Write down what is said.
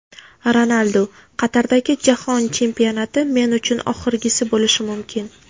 Ronaldu: Qatardagi jahon chempionati men uchun oxirgisi bo‘lishi mumkin .